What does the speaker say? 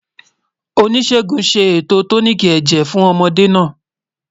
Oníṣègùn ṣé ètò tóníkí èjè fún ọ̀módè nà